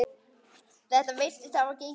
Þetta virðist hafa gengið eftir.